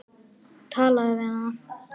Talaðu við hana.